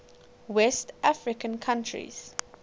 west african countries